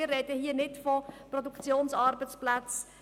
Wir sprechen hier nicht von Produktionsarbeitsplätzen.